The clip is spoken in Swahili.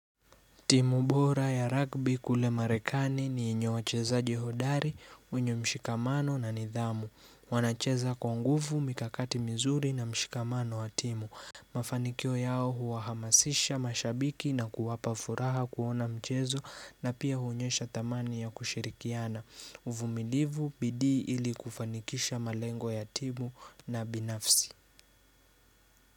Timu bora ya rugby kule marekani ni yenye wachezaji hodari, wenye mshikamano na nidhamu. Wanacheza kwa nguvu, mikakati mizuri na mshikamano wa timu. Mafanikio yao huwahamasisha mashabiki na kuwapa furaha kuona mchezo na pia huonyesha dhamani ya kushirikiana. Uvumilivu, bidii ili kufanikisha malengo ya timu na binafsi.